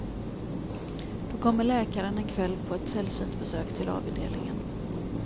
Då kommer läkaren en kväll på ett sällsynt besök till avdelningen.